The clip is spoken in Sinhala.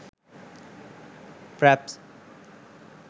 fraps